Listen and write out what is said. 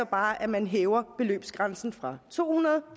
bare at man hæver beløbsgrænsen fra to hundrede